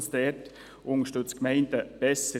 es unterstützt die Gemeinden besser.